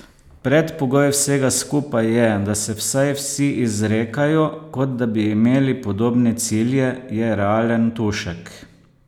Predpogoj vsega skupaj je, da se vsaj vsi izrekajo, kot da bi imeli podobne cilje, je realen Tušek.